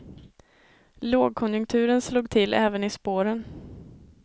Lågkonjunturen slog till även i spåren.